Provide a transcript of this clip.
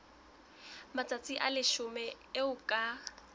matsatsi a leshome eo ka